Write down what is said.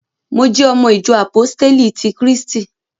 Mo jẹ́ ọmọ ìjọ àpóstélì ti krístì